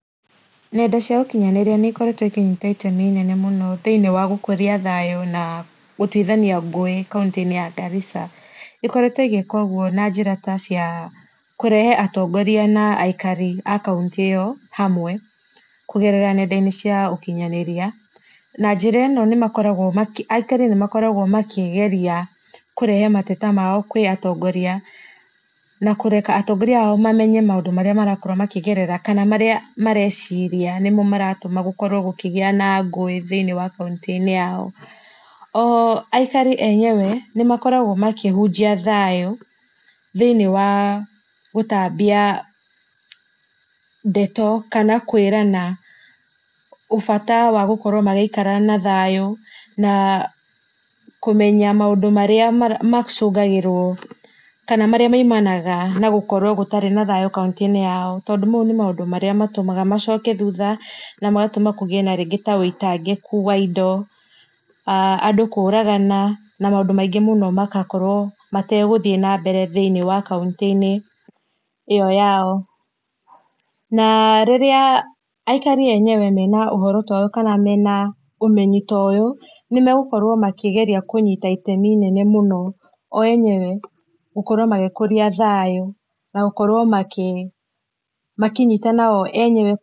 Nenda cia ũkinyanĩria nĩ ikoretjwo ikĩnyita itemi inene mũno thĩinĩ wa gũkũria thayũ na gũtũĩthania ngũĩ kaũtĩ inĩ ya Garissa , ikoretwo igĩka ũgũo na njĩra ta cia kũrehe atongoria na aikaria a kauntĩ ĩyo hamwe kũgerera nenda inĩ cia ũkinyanĩria na njĩra ĩno makĩ aikari nĩmakoragwo makĩgeria kũrehe mateta mao kũĩ atongoria na kũreka atongoria ao mamenye maũndũ marĩa marakoragwo makĩgerera kana marĩa mareciria nĩmo maratũma gũkorwo gũkĩgĩa na ngũĩ thĩinĩ wa kauntĩinĩ yao .O aikarĩ enywe nĩ makoragwo makĩhũnjia thayũ thĩinĩ wa gũtambia ndeto kana kwirana bata wa gũkorwo magĩikara na thayũ naa kũmenya maũndũ marĩa macũngagĩrwo kana marĩa maimanaga na gũkorwo gũtarĩ na thayũ kauntĩinĩ yao tondũ maũ nĩ maũndũ marĩa matũmaga macoke thũtha na magatũma kũgĩe na maũndũ ta wĩitangĩkũ wa indo andũ kũragana na maũndũ mangĩ maingĩ mũno magakorwo mategũthiĩ na mbere thĩinĩ wa kauntĩinĩ ĩyo yao na rĩrĩa aikari enyewe mena ũhoro toyũ kana mena ũmenyi toyũ nĩ megũkorwo makĩgegia kũnyita itemi inene mũno o enyewe gũkorwo magĩkũrĩa thayũ nagũkorwo makĩ makĩnyitana o enyewe.